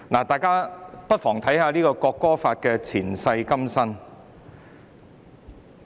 大家不妨看看《國歌條例草案》的"前世今生"。